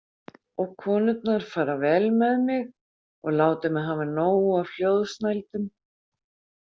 Og konurnar fara vel með mig og láta mig hafa nóg af hljóðsnældum.